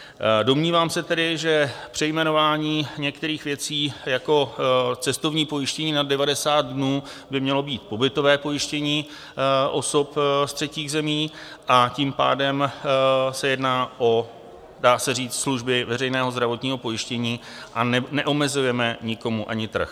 Domnívám se tedy, že přejmenování některých věcí jako cestovní pojištění nad 90 dnů by mělo být pobytové pojištění osob z třetích zemí, a tím pádem se jedná o - dá se říct - služby veřejného zdravotního pojištění a neomezujeme nikomu ani trh.